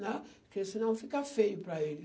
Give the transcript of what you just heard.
né? Porque senão fica feio para eles.